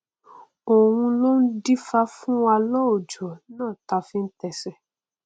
òun ló dífá fún wa lọjọ náà táa fi tẹsẹ